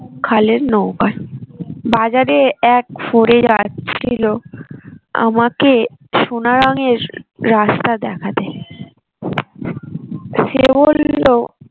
খালের নৌকায় বাজারে এক ফরে যাচ্ছিল আমাকে সোনা রঙ্গের রাস্তা দেখাতে সে বললো